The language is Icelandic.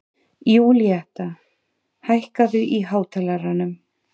Júlíetta, hækkaðu í hátalaranum.